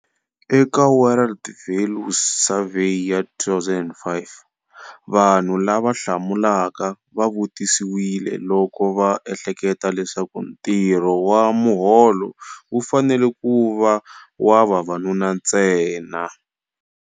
Eka World Values Survey ya 2005, vanhu lava hlamulaka va vutisiwile loko va ehleketa leswaku ntirho wa muholo wu fanele ku va wa vavanuna ntsena.